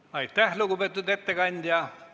Aitäh, lugupeetud ettekandja!